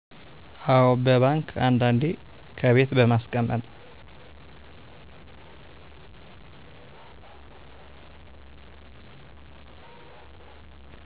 አዎ በባንክ አንዳንዴ ከቤት በማስቀመጥ